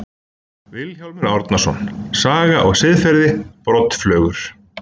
Vilhjálmur Árnason, Saga og siðferði, Broddflugur.